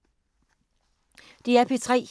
DR P3